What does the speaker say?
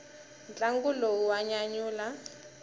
ntlangu lowu wa nyanyula